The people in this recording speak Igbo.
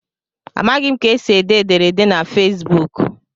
Amaghị m ka esi ede ederede na Facebuk.